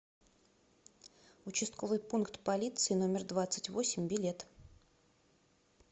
участковый пункт полиции номер двадцать восемь билет